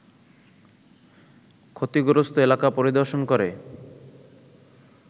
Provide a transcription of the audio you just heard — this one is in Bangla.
ক্ষতিগ্রস্ত এলাকা পরিদর্শন করে